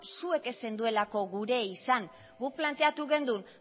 zuek ez zenutelako gure izan guk planteatu genuen